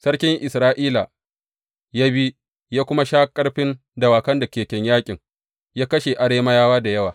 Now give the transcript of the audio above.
Sarki Isra’ila ya bi, ya kuma sha ƙarfin dawakan da keken yaƙin, ya kashe Arameyawa da yawa.